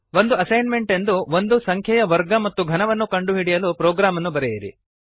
ಒಂದು ಅಸೈನ್ಮೆಂಟ್ ಎಂದು ಒಂದು ಸಂಖ್ಯೆಯ ವರ್ಗ ಮತ್ತು ಘನವನ್ನು ಕಂಡುಹಿಡಿಯಲು ಪ್ರೊಗ್ರಾಮನ್ನು ಬರೆಯಿರಿ